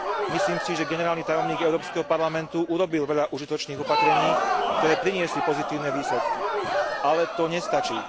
Myslím si, že generálny tajomník Európskeho parlamentu urobil veľa užitočných opatrení, ktoré priniesli pozitívne výsledky, ale to nestačí.